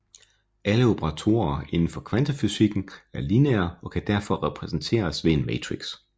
Alle operatorer inden for kvantefysikken er lineære og kan derfor repræsenteres ved en matrix